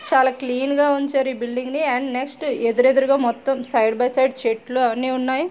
చాలా క్లీన్ గా ఉంచారు ఈ బిల్డింగ్ ని అండ్ నెక్స్ట్ ఎదురెదురుగా మొత్తం సైడ్ బై సైడ్ చెట్లు అన్నీ ఉన్నాయి.